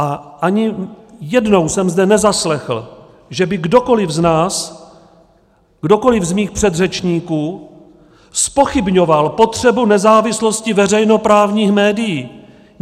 A ani jednou jsem zde nezaslechl, že by kdokoli z nás, kdokoli z mých předřečníků zpochybňoval potřebu nezávislosti veřejnoprávních médií.